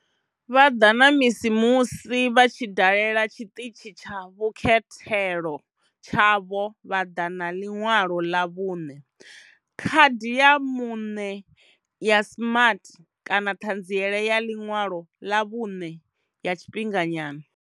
Vha ḓa na misi musi vha tshi dalela tshiṱitshi tsha vhukhethelo tshavho vha ḓa na ḽiṅwalo ḽa vhuṋe, khadi ya muṋe ya smart kana ṱhanziela ya ḽiṅwalo ḽa vhuṋe ya tshifhinganyana.